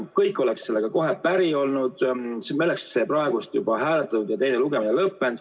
Kõik oleksid sellega kohe päri olnud, meil oleks praegu see juba hääletatud ja teine lugemine lõpetatud.